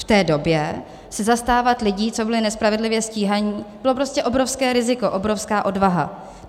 V té době se zastávat lidí, co byli nespravedlivě stíhaní, bylo prostě obrovské riziko, obrovská odvaha.